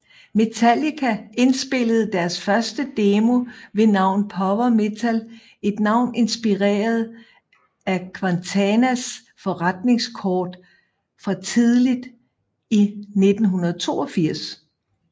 Metallica indspillede deres første demo ved navn Power Metal et navn inspireret af Quintanas forretningskort fra tidligt i 1982